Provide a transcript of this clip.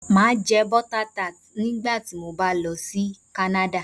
Màá jẹ́ Butter Tart nígbà tí mo bá lọ sí Ìlú kánádà